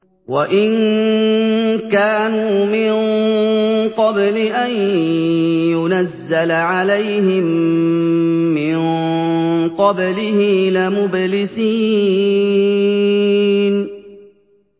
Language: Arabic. وَإِن كَانُوا مِن قَبْلِ أَن يُنَزَّلَ عَلَيْهِم مِّن قَبْلِهِ لَمُبْلِسِينَ